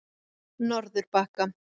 Norðurbakka